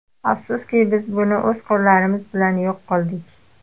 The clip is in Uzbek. Afsuski, biz uni o‘z qo‘llarimiz bilan yo‘q qildik.